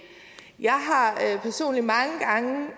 jeg har personligt mange gange